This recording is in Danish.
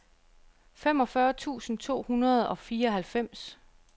femogfyrre tusind to hundrede og fireoghalvfems